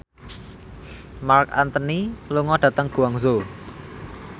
Marc Anthony lunga dhateng Guangzhou